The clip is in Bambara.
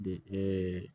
De